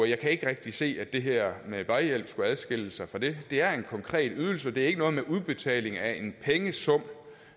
jeg kan ikke rigtig se at det her med vejhjælp skulle adskille sig fra det det er en konkret ydelse og det er ikke noget med udbetaling af en pengesum